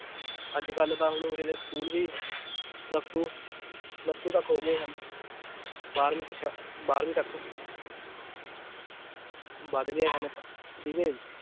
ਅੱਜ ਕੱਲ੍ਹ ਤਾਂ ਹੁਣ ਉਰੇ ਦੇ school ਵੀ plus two, plus two ਤੱਕ ਹੋ ਗਏ ਹਨ ਬਾਰਵੀਂ ਬਾਰਵੀਂ ਤੱਕ ਵੱਧ ਗਏ ਹਨ ਠੀਕ ਹੈ ਜੀ